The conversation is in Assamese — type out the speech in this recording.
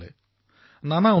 হোৱাটছএপ গ্ৰুপ বনোৱা হল